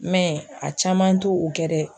a caman t'o kɛ dɛ!